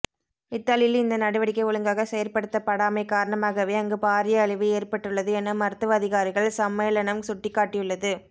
இத்தாலியில் இந்த நடவடிக்கை ஒழுங்காக செயற்படுத்தப்படாமை காரணமாகவே அங்கு பாரிய அழிவு ஏற்பட்டுள்ளது என மருத்துவ அதிகாரிகள் சம்மேளனம் சுட்டிக்காட்டியுள்ளது